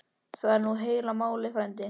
Það er nú heila málið frændi.